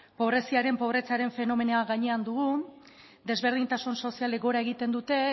pobreziaren pobretzearen fenomenoa gainean dugu desberdintasun sozialek gora egiten dute